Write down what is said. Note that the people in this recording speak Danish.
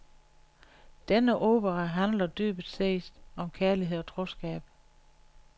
Denne opera handler dybest set om kærlighed og troskab.